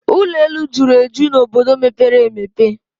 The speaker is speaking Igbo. Ụlọ elu juru eju n'obodo mepere emepe